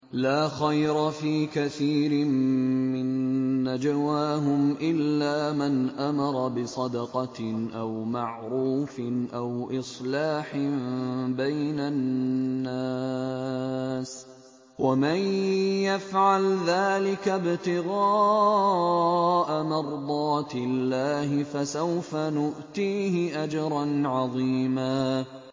۞ لَّا خَيْرَ فِي كَثِيرٍ مِّن نَّجْوَاهُمْ إِلَّا مَنْ أَمَرَ بِصَدَقَةٍ أَوْ مَعْرُوفٍ أَوْ إِصْلَاحٍ بَيْنَ النَّاسِ ۚ وَمَن يَفْعَلْ ذَٰلِكَ ابْتِغَاءَ مَرْضَاتِ اللَّهِ فَسَوْفَ نُؤْتِيهِ أَجْرًا عَظِيمًا